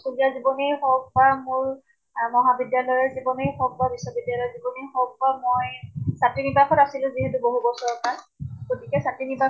স্কুলীয়া জীৱনেই হওঁক বা মোৰ মহাবিদ্য়ালয়ৰ জীৱনেই হওঁক বা বিশ্ববিদ্য়ালয়ৰ জীৱনেই হওঁক বা মই ছাত্ৰী নিবাস ত আছিলো যিহেতু বহু বছৰৰ পৰা গতিকে ছাত্ৰী নিবাস